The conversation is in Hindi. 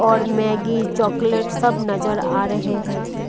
और मैगी चॉकलेट सब नज़र आ रहे है।